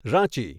Ranchi